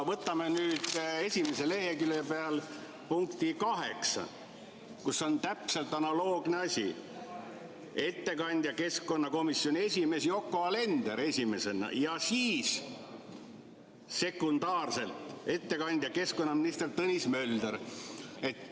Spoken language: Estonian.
Vaatame nüüd esimese lehekülje peal 8. punkti, seal on täpselt analoogne asi: esimene ettekandja on keskkonnakomisjoni esimees Yoko Alender ja teine ettekandja on keskkonnaminister Tõnis Mölder.